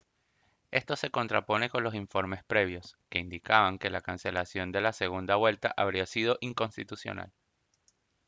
esto se contrapone con los informes previos que indicaban que la cancelación de la segunda vuelta habría sido inconstitucional